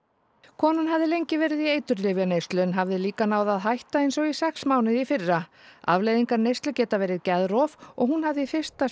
konan hafði lengi verið í eiturlyfjaneyslu en hafði líka náð að hætta eins og sex mánuði í fyrra afleiðingar neyslu geta verið geðrof og hún hafði í fyrsta